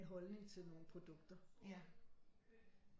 En holdning til nogle produkter